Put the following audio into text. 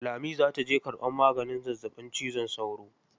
Lami za ta je karɓan maganin zazzaɓin cizon sauro.